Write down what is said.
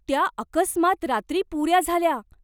त्या अकस्मात रात्री पुऱ्या झाल्या.